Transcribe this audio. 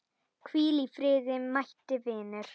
Hvíl í friði mæti vinur.